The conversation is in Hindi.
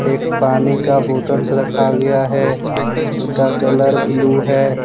एक पानी का बोतल रखा गया है जिसका कलर ब्ल्यू है।